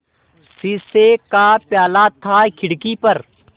शीशे का प्याला था खिड़की पर